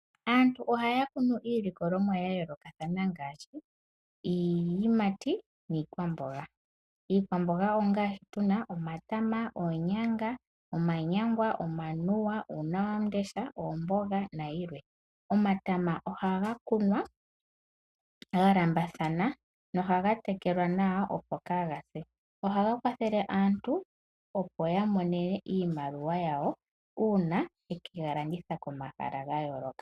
Aantu ohaya kunu iilikolomwa ya yoolokathana ngaashi iiyimati niikwamboga . Iikwamboga ongaashi tuna omatama, oonyanga ,omanyangwa, omanuwa, uunawamundesha, oomboga nayilwe. Omatama ohaga kunwa ga lambathana nohaga tekelwa nawa opo kagase .Ohaga kwathele aantu opo yamone iimaliwa yawo uuna ye kegalanditha komahala gayooloka.